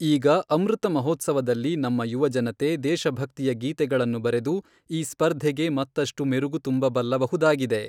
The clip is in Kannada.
ಈಗ ಅಮೃತ ಮಹೋತ್ಸವದಲ್ಲಿ ನಮ್ಮ ಯುವ ಜನತೆ ದೇಶಭಕ್ತಿಯ ಗೀತೆಗಳನ್ನು ಬರೆದು ಈ ಸ್ಪರ್ಧೆಗೆ ಮತ್ತಷ್ಟು ಮೆರುಗು ತುಂಬಬಲ್ಲಬಹುದಾಗಿದೆ.